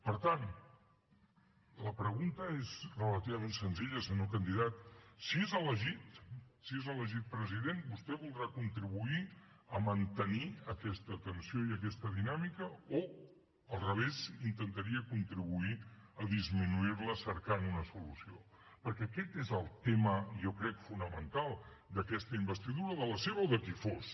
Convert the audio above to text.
per tant la pregunta és relativament senzilla senyor candidat si és elegit si és elegit president vostè voldrà contribuir a mantenir aquesta tensió i aquesta dinàmica o al revés intentaria contribuir a disminuir la cercant una solució perquè aquest és el tema jo crec fonamental d’aquesta investidura de la seva o de qui fos